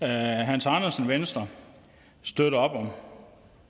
hans andersen venstre støtter op om